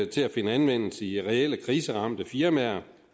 til at finde anvendelse i reelle kriseramte firmaer